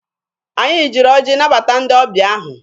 Anyị jiri ọjị nabata ndị ọbịa ahụ.